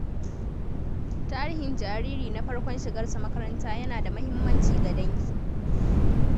Tarihin jariri na farkon shigarsa makaranta yana da muhimmanci ga dangi.